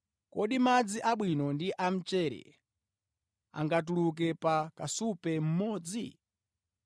Kodi madzi abwino ndi a mchere angatuluke pa kasupe mmodzi?